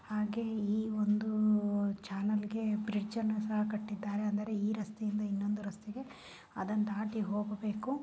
ಹಾಗೆ ಈ ಒಂದು ಚಾನೆಲ್ ಗೆ ಬ್ರಿಡ್ಜ್ ಅನ್ನ ಸಹ ಕಟ್ಟಿದ್ದಾರೆ ಅಂದರೆ ಈ ರಸ್ತೆಯಿಂದ ಇನೊಂದು ರಸ್ತೆಗೆ ಅದನ್ನ ದಾಟಿ ಹೋಗಬೇಕು.